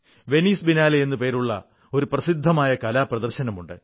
Venice Biennale എന്നു പേരുള്ള ഒരു പ്രസിദ്ധമായ കലാ പ്രദർശനമുണ്ട്